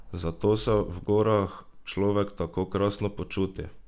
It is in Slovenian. Zato se v gorah človek tako krasno počuti?